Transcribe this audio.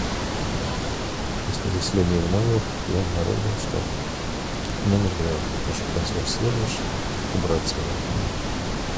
после заселения в номер я обнаружил что номер грязный прошу консьерж сервис убраться в нем